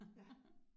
Ja